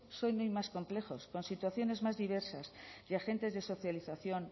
son hoy más complejos con situaciones más diversas y agentes de socialización